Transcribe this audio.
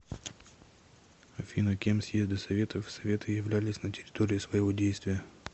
афина кем съезды советов и советы являлись на территории своего действия